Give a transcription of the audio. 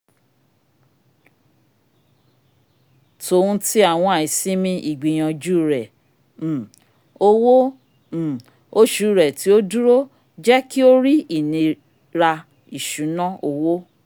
tòhún ti awọn aisimi igbiyanju rẹ um owó um oṣù rẹ ti o duro jẹ ki o rí ìnira iṣuna owo